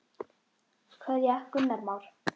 Kveðja, Gunnar Már.